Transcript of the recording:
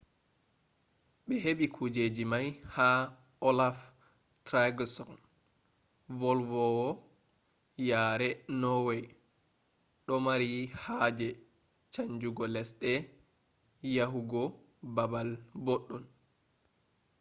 be hebi kujeji mai ha olaf trygvsson, volwowo yare norway domari haje chanjugo lesde yahu go balbal boddon